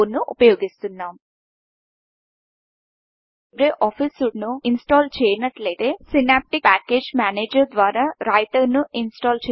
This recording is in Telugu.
మీరు లీబ్రే ఆఫీస్ సూట్ను ఇన్ స్టల్ చేయనట్లయితే Synaptic package manager Synaptic package manager ద్వారా రైటర్ను ఇన్ స్టల్ చేయవచ్చు